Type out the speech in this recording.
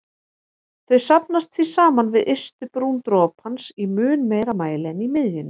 Þau safnast því saman við ystu brún dropans í mun meiri mæli en í miðjunni.